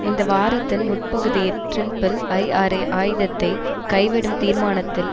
இந்த வாரத்தின் முற்பகுதியில் ட்ரிம்பிள் ஐஆர்ஏ ஆயுதத்தை கைவிடும் தீர்மானத்தில்